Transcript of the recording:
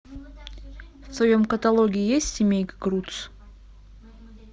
в твоем каталоге есть семейка крудс